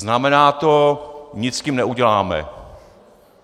Znamená to - nic s tím neuděláme.